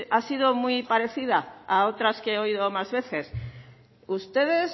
ha sido muy parecida a otras que he oído más veces ustedes